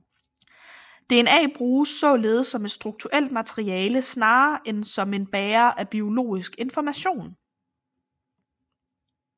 DNA bruges således som et strukturelt materiale snarere end som en bærer af biologisk information